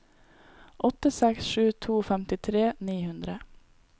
åtte seks sju to femtitre ni hundre